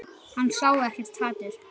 Hann sá ekkert hatur.